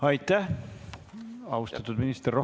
Aitäh, austatud minister!